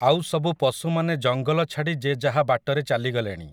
ଆଉସବୁ ପଶୁମାନେ ଜଙ୍ଗଲ ଛାଡ଼ି ଯେ ଯାହା ବାଟରେ ଚାଲିଗଲେଣି ।